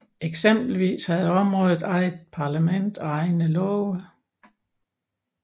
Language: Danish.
Eksempelvis havde området eget parlament og egne love